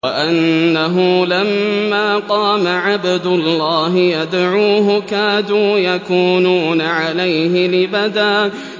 وَأَنَّهُ لَمَّا قَامَ عَبْدُ اللَّهِ يَدْعُوهُ كَادُوا يَكُونُونَ عَلَيْهِ لِبَدًا